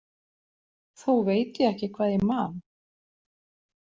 Þó veit ég ekki hvað ég man.